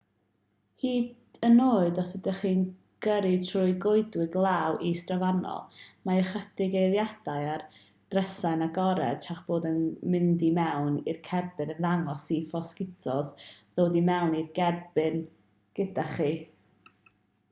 hyd yn oed os ydych chi'n gyrru trwy'r goedwig law is-drofannol mae ychydig eiliadau â'r drysau'n agored tra'ch bod yn mynd i mewn i'r cerbyd yn ddigon i fosgitos ddod i mewn i'r cerbyd gyda chi